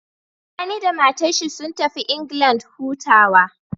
Sani da matar shi sun tafi England hutawa